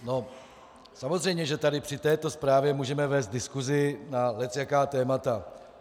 No samozřejmě, že tady při této zprávě můžeme vést diskusi na lecjaká témata.